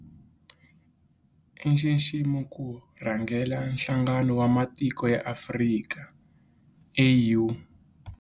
I nxiximo ku rhangela Nhlangano wa Matiko ya Afrika, AU.